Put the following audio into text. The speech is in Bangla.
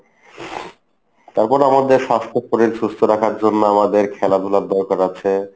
তারপর আমাদের স্বাস্থ্য শরীর সুস্থ রাখার জন্য আমাদের খেলাধুলার দরকার আছে।